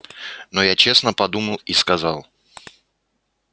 но я честно подумал и сказал